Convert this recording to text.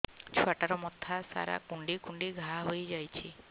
ଛୁଆଟାର ମଥା ସାରା କୁଂଡେଇ କୁଂଡେଇ ଘାଆ ହୋଇ ଯାଇଛି